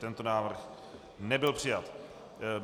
Tento návrh nebyl přijat.